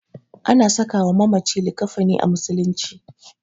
Ana sakawa mamaci likkafani a musulunci.